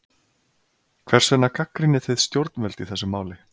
Hvers vegna gagnrýnið þið stjórnvöld í þessu máli?